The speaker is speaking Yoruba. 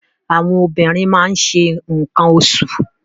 Àwọn obìnrin ma ń se nǹkan oṣù.